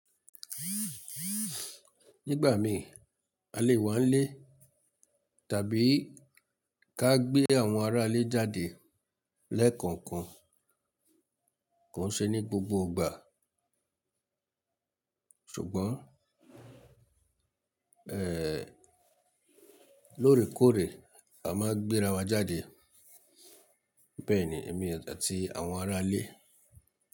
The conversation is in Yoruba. Nígbà mí a lè wá n le tàbí ká gbé àwọn ará ilé jáde lẹ́ẹ̀kọ̀ọ̀kan. Kò n ṣe ní gbogbo ìgbà, ṣùgbọ́n lórèkórè a máa gbéra wa jáde. Bẹ́ẹ̀ni èmi àti àwọn ará ilé.